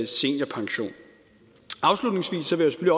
seniorpension afslutningsvis vil jeg